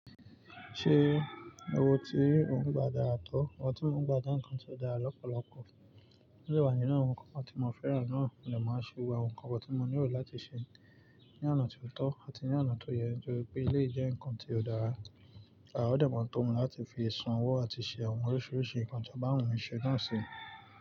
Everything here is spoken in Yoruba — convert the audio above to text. Ṣe owo tí ò ń gba dára tọ́? Owo tí mo ń gba je nkan tí ó dára lọ́pọ̀lọpọ̀. To de wa nínú àwọn nǹkan kan tí mo fẹ́ràn náà mo de máa ṣe gbogbo àwọn nǹkan wọ̀n tí mo ní erò láti ṣe ní oná tí ó tọ́ àti ní oná tí ó yẹ, nítóri pe eleyii jẹ́ nǹkan tí ó dára, o dẹ̀ maa tómi láti fi san owó àti ṣe àwọn oríṣiiríṣii nǹkan tó bá wu mi ṣẹ́ náà sí.